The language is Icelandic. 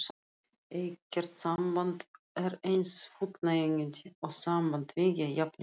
Ekkert samband er eins fullnægjandi og samband tveggja jafningja.